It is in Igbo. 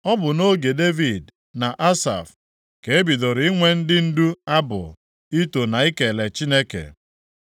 Ọ bụ nʼoge Devid na Asaf ka e bidoro inwe ndị ndu abụ ito na ikele Chineke.